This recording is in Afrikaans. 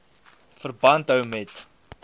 verband hou met